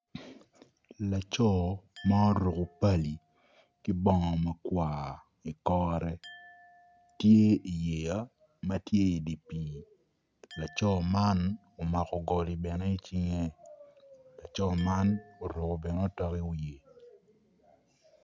Laco ma oruku pali ki bongo makwar i kore tye i yeya ma tye i di pii laco man omako goli bene i cinge laco man oruku bene utok i wiye